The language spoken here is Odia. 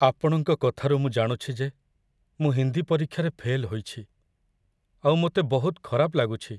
ଆପଣଙ୍କ କଥାରୁ ମୁଁ ଜାଣୁଛି ଯେ ମୁଁ ହିନ୍ଦୀ ପରୀକ୍ଷାରେ ଫେଲ୍ ହୋଇଛି, ଆଉ ମୋତେ ବହୁତ ଖରାପ ଲାଗୁଛି।